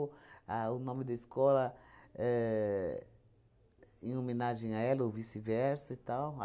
a o nome da escola éh em homenagem a ela ou vice-versa e tal.